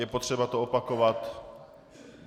Je potřeba to opakovat?